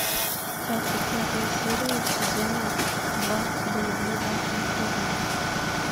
двадцать пятая серия сезона два блудливая калифорния